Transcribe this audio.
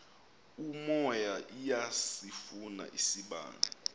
umoya iyasifuna isibane